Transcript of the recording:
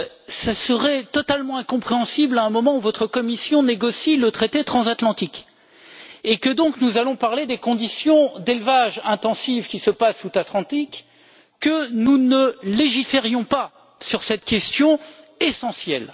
Il serait totalement incompréhensible à un moment où votre Commission négocie le traité transatlantique et que nous allons donc parler des conditions d'élevage intensif observées outre Atlantique que nous ne légiférions pas sur cette question essentielle.